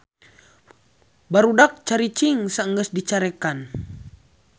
Barudak caricing saenggeus dicarekan